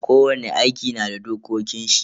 Kowani aiki na da dokokin shi.